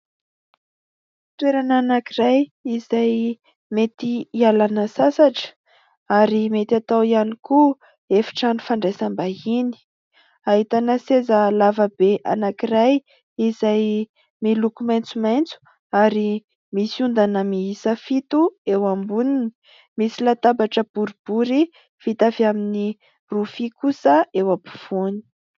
Toerana anankiray izay mety hialana sasatra ary mety atao ihany koa efitrano fandraisam-bahiny ahitana seza lavabe anankiray izay miloko maitsomaitso ary misy ondana miisa fito eo amboniny, misy latabatra boribory vita avy amin'ny rofia kosa eo afovoany.